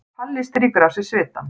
Palli strýkur af sér svitann.